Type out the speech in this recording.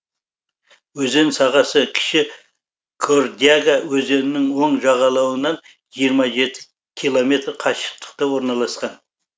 өзен сағасы кіші кордяга өзенінің оң жағалауынан жиырма жеті километр қашықтықта орналасқан